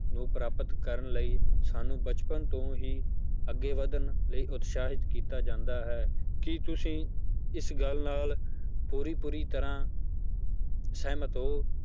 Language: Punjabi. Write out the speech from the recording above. ਨੂੰ ਪ੍ਰਾਪਤ ਕਰਨ ਲਈ ਸਾਨੂੰ ਬਚਪਨ ਤੋਂ ਹੀ ਅੱਗੇ ਵੱਧਣ ਲਈ ਉਤਸ਼ਾਹਿਤ ਕੀਤਾ ਜਾਂਦਾ ਹੈ ਕਿ ਤੁਸੀਂ ਇਸ ਗੱਲ ਨਾਲ ਪੂਰੀ ਪੂਰੀ ਤਰ੍ਹਾਂ ਸਹਿਮਤ ਹੋ